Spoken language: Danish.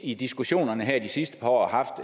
i diskussionerne her de sidste par år har